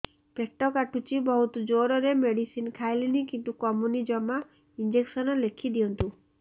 ପେଟ କାଟୁଛି ବହୁତ ଜୋରରେ ମେଡିସିନ ଖାଇଲିଣି କିନ୍ତୁ କମୁନି ଜମା ଇଂଜେକସନ ଲେଖିଦିଅନ୍ତୁ